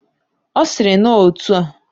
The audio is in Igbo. Osiri na otua: